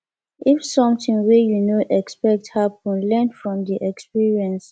if something wey you no expect happen learn from the experience